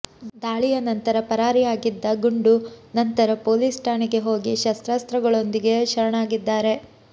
ದಾಳಿಯ ನಂತರ ಪರಾರಿ ಆಗಿದ್ದ ಗುಂಡು ನಂತರ ಪೊಲೀಸ್ ಠಾಣೆಗೆ ಹೋಗಿ ಶಸ್ತ್ರಾಸ್ತ್ರಗಳೊಂದಿಗೆ ಶರಣಾಗಿದ್ದಾರೆ